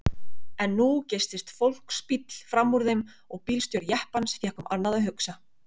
En nú geystist fólksbíll frammúr þeim og bílstjóri jeppans fékk annað um að hugsa.